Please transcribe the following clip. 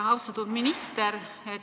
Austatud minister!